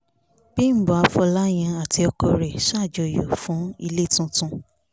bímbọ́ afòláyàn àti ọkọ rẹ̀ ṣàjọyọ̀ fún ilé tuntun